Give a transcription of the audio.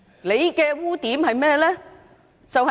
你的污點是甚麼呢？